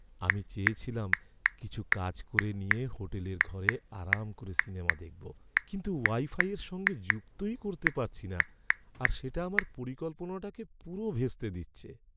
আমি চেয়েছিলাম কিছু কাজ করে নিয়ে হোটেলের ঘরে আরাম করে সিনেমা দেখব, কিন্তু ওয়াইফাইয়ের সঙ্গে যুক্তই করতে পারছি না আর সেটা আমার পরিকল্পনাটাকে পুরো ভেস্তে দিচ্ছে।